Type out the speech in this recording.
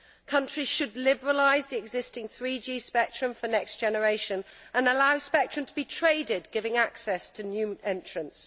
Countries should liberalise the existing 3G spectrum for the next generation and allow spectrum to be traded, giving access to new entrants.